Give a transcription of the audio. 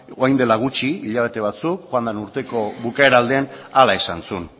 orain dela gutxi hilabete batzuk joan den urteko bukaera aldean hala esan zuen